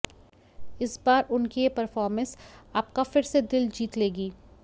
इस बार उनकी ये पर्फॉर्मेंस आपका फिर से दिल जीत लेगी